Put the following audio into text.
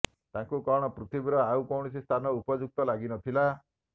ତାଙ୍କୁ କଣ ପୃଥିବୀର ଆଉ କୌଣସି ସ୍ଥାନ ଉପଯୁକ୍ତ ଲାଗିନଥିଲା